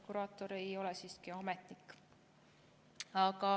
Kuraator ei ole siiski ametnik.